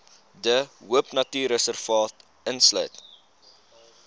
de hoopnatuurreservaat insluit